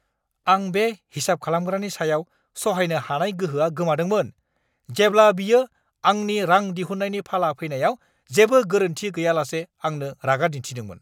आं बे हिसाब खालामग्रानि सायाव सहायनो हानाय गोहोआ गोमादोंमोन, जेब्ला बियो आंनि रां दिहुन्नायनि फाला फैनायाव जेबो गोरोन्थि गैयालासे आंनो रागा दिन्थिदोंमोन!